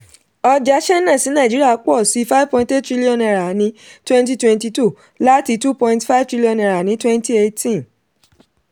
ọjà china sí nàìjíríà pọ̀ sí five point eight trillion naira ní twenty twenty two láti two point five trillion naira ní twenty eighteen